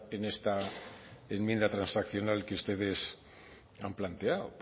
en esta enmienda transaccional que ustedes han planteado